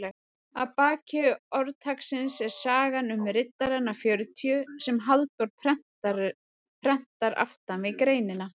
Að baki orðtaksins er sagan um riddarana fjörutíu sem Halldór prentar aftan við greinina.